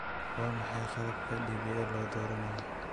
Waa maxay qalabka DPL ee la dooranayo?